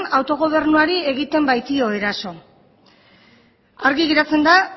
autogobernuari egiten baitio eraso argi geratzen da